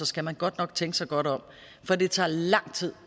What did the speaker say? skal man godt nok tænke sig godt om for det tager lang tid